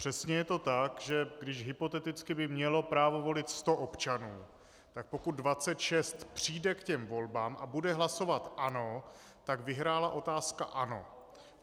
Přesně je to tak, že když hypoteticky by mělo právo volit 100 občanů, tak pokud 26 přijde k těm volbám a bude hlasovat "ano", tak vyhrála otázka "ano".